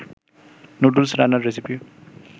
noodles রান্নার recipe